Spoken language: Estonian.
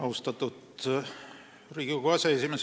Austatud Riigikogu aseesimees!